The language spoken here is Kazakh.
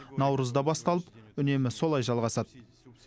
наурызда басталып үнемі солай жалғасады